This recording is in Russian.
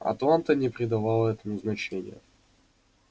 атланта не придавала этому значения